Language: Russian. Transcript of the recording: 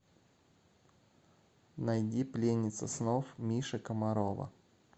найди пленница снов миши комарова